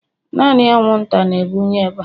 naanị anwụnta na-ebunye ịba